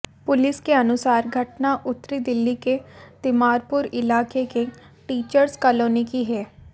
police के अनुसार घटना उत्तरी दिल्ली के तिमारपुर इलाके के टीचर्स कालोनी की है